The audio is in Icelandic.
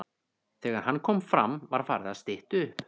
Þegar hann kom fram var farið að stytta upp.